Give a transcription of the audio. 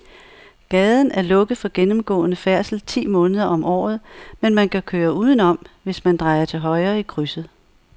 Gaden er lukket for gennemgående færdsel ti måneder om året, men man kan køre udenom, hvis man drejer til højre i krydset.